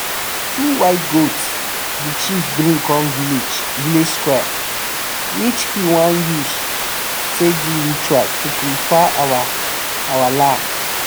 two white goats the chief bring come village square which he wan use take do ritual to purify our our land.